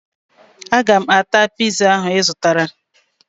Aga m ata piza ahụ ị zụtara